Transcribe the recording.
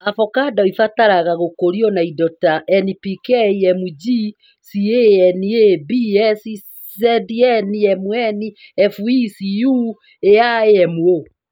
Avocado ĩbataraga gũkũrio na indo ta N, P, K, Mg, Ca, Na, B, S, Zn, Mn, Fe, Cu, Al, Mo